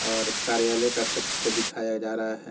और कार्यालय का कक्ष को दिखाया जा रहा हैं ।